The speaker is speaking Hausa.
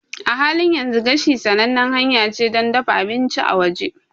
A halin yanzu, gashi sanannen hanya ce don dafa abinci a waje.